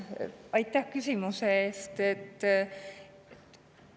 Aitäh küsimuse eest!